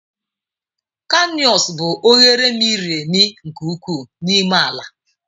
Kanịọns bụ oghere miri emi nke ukwuu n'ime ala.